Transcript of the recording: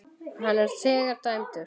Hann er þegar dæmdur.